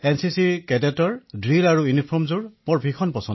NCC কেডেটৰ drill এক্যৱেশ মই খুউব ভাল পাও